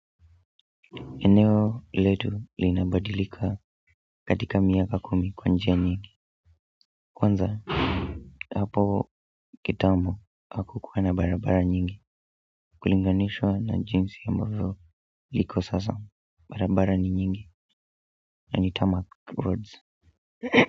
Eneo letu linabadilika katika miaka kumi kwa njia nyingi kwanza hapo kitambo hakukuwa na barabara nyingi kulinganishwa na jinsi ambavyo liko sasa barabara ni nyingi na ni tarmac roads.